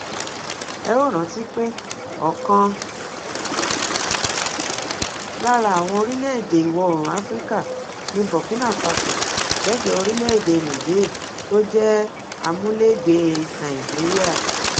ẹ óò rántí pé ọkan lára àwọn orílẹèdè iwọ̀oòrùn africa ni burkinafáso lẹ́gbẹ̀ẹ́ orílẹ̀èdè nìjéè tó jẹ amúlégbèé nàìjíríà